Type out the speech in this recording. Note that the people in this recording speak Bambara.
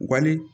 Wali